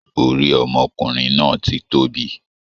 Orí ọmọkùnrin náà ti tóbi.